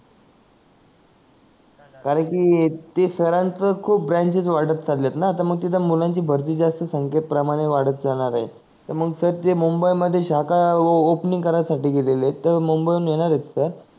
करांकि ते सर च खूप ब्रांचेस वाढत चलले आहेत ना मग तित मुलांची भारती जे असते ते संख्ये प्रमाणे वाढत जाणार आहे त मंग सर ते मुंबई मध्ये शाखा ओपेनिंग करायसाठी गेलेले आहेत तर मुंबई वरुण येणार आहेत ते